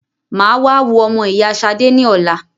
Mà á wá wo ọmọ ìyá Ṣadé ní ọ̀la.